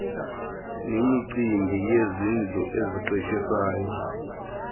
nemicimbi yezindlu eziqeshisayo